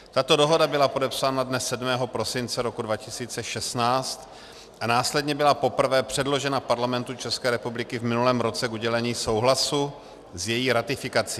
Tato dohoda byla podepsána dne 7. prosince roku 2016 a následně byla poprvé předložena Parlamentu České republiky v minulém roce k udělení souhlasu s její ratifikací.